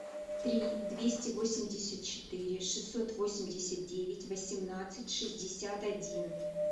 три двести восемьдесят четыре шестьсот восемьдесят девять восемнадцать шестьдесят один